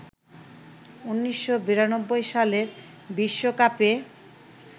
১৯৯২ সালের বিশ্বকাপে